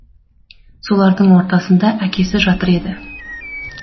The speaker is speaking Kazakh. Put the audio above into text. солардың ортасында әкесі жатыр еді